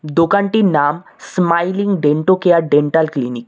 দোকানটির নাম smiling dento care dental clinic.